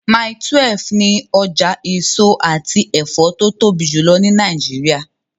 Mile 12 ni ọjà èso àti ẹ̀fọ́ tó tóbi jùlọ ní Nàìjíríà.